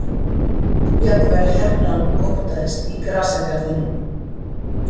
Jafnvel herrann óttaðist í grasgarðinum.